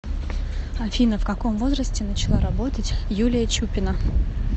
афина в каком возрасте начала работать юлия чупина